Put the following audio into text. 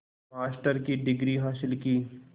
master की degree हासिल की